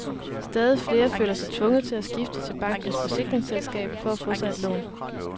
Stadig flere føler sig tvunget til at skifte til bankens forsikringsselskab for at få sig et lån.